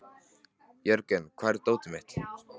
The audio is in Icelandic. Jörgen, hvar er dótið mitt?